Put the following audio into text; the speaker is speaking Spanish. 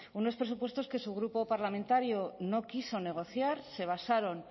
unos presupuestos que su grupo parlamentario no quiso negociar se basaron